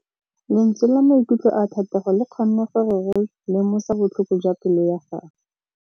Lentswe la maikutlo a Thategô le kgonne gore re lemosa botlhoko jwa pelô ya gagwe.